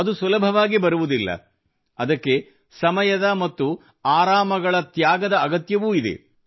ಅದು ಸುಲಭವಾಗಿ ಬರುವುದಿಲ್ಲ ಅದಕ್ಕೆ ಸಮಯದ ಮತ್ತು ಆರಾಮಗಳ ತ್ಯಾಗದ ಅಗತ್ಯವೂ ಇದೆ